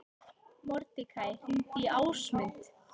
Mordekaí, hringdu í Ásmund.